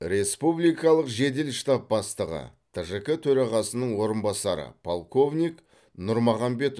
республикалық жедел штаб бастығы тжк төрағасының орынбасары полковник нұрмағамбетов